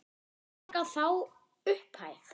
Borga þá upphæð?